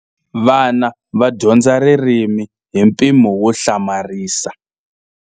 Vana va dyondza ririmi hi mpimo wo hlamarisa.